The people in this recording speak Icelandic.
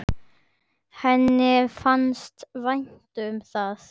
Henni fannst vænt um það.